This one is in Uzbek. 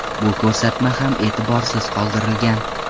Bu ko‘rsatma ham e’tiborsiz qoldirilgan.